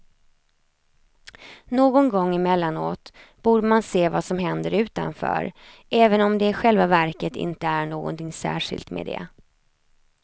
Någon gång emellanåt borde man se vad som händer utanför, även om det i själva verket inte är någonting särskilt med det.